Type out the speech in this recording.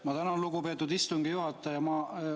Ma tänan, lugupeetud istungi juhataja!